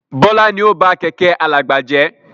Bọlá ni ó ba Kẹ̀kẹ́ alàgbà jẹ́